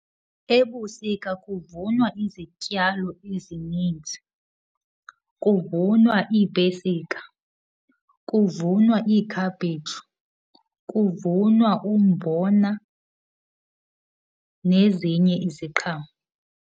Ebusika kuvunwa izityalo ezininzi. Kuvunwa iipesika, kuvunwa iikhaphetshu, kuvunwa umbona, nezinye iziqhamo.